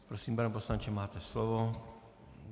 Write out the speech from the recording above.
Prosím, pane poslanče, máte slovo.